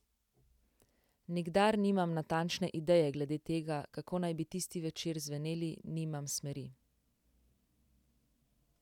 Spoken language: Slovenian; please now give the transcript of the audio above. Nikdar nimam natančne ideje glede tega, kako naj bi tisti zvečer zveneli, nimam smeri.